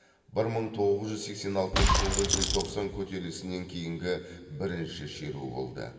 бір мың тоғыз жүз сексен алтыншы жылғы желтоқсан көтерілісінен кейінгі бірінші шеру болды